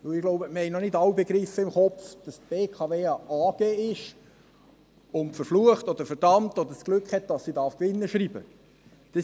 Ich glaube, wir haben im Kopf noch nicht alle begriffen, dass die BKW eine AG ist und dazu verflucht oder verdammt ist oder das Glück hat, dass sie Gewinne schreiben darf.